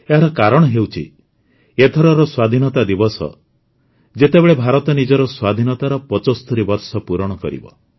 ଏହାର କାରଣ ହେଉଛି ଏଥରର ସ୍ୱାଧୀନତା ଦିବସ ଭାରତ ନିଜର ସ୍ୱାଧୀନତାର ୭୫ ବର୍ଷ ପୂରଣ କରୁଛି